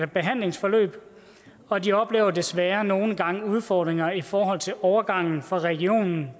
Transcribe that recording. behandlingsforløb og de oplever desværre nogle gange udfordringer i forhold til overgangen fra regionen